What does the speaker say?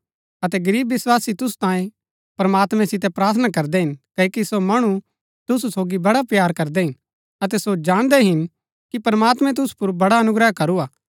अतै गरीब विस्वासी तुसु तांयें प्रमात्मैं सितै प्रार्थना करदै हिन क्ओकि सो मणु तुसु सोगी बड़ा प्‍यार करदै हिन अतै सो जाणदै हिन कि प्रमात्मैं तुसु पुर बड़ा अनुग्रह करू हा